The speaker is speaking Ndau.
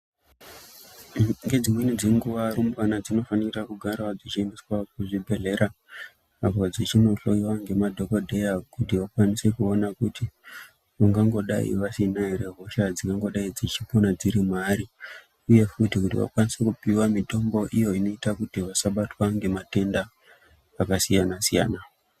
Ngedzimweni dzenguwa rumbwana dzinofanira kugarawo dzichiendeswa kuzvibhedhleya apo dzichindohloiwa ngemadhokodheya kuti vakwanise kuona kuti vangangodai vasina ere hosha dzingangodai dzichipona dziri mwaari uye futi kuti vakwanise kupiwa mitombo iyo inoita kuti vasabatwa ngematenda akasiyana-siyana.